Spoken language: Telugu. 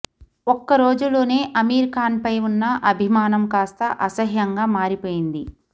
ఒక్క రోజులోనే అమీర్ ఖాన్పై ఉన్న అభిమానం కాస్త అసహ్యంగా మారి పోయింది